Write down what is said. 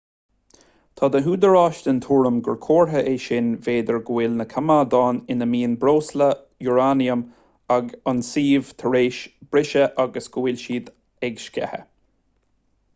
tá na húdaráis den tuairim gur comhartha é sin b'fhéidir go bhfuil na coimeádáin ina mbíonn breosla úráiniam ag an suíomh tar éis briseadh agus go bhfuil siad ag sceitheadh